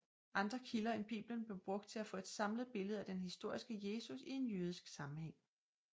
Andre kilder end Bibelen blev brugt til at få et samlet billede af den historiske Jesus i en jødisk sammenhæng